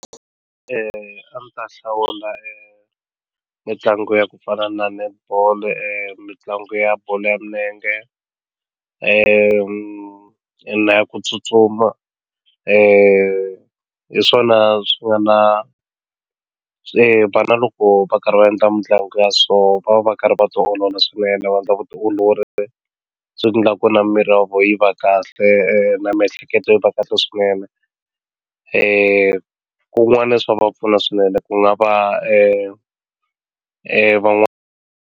A ndzi ta hlawula mitlangu ya ku fana na netball mitlangu ya bolo ya milenge na ya ku tsutsuma hi swona swi nga na vana loko va karhi va endla mitlangu ya so va va karhi va tiolola swinene va endla vutiolori swi endla ku na miri ya vo yi va kahle na miehleketo yi va kahle swinene ku kun'wana swa va pfuna swinene ku nga .